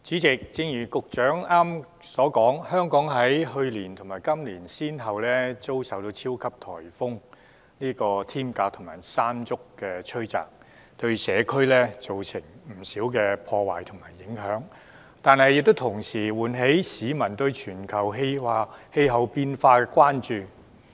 主席，正如局長剛才所說，香港在去年及今年先後遭受超級颱風"天鴿"及"山竹"吹襲，對社區造成不少破壞及影響，但同時亦喚起市民對全球氣候變化的關注。